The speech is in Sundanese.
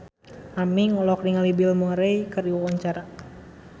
Aming olohok ningali Bill Murray keur diwawancara